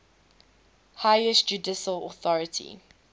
highest judicial authority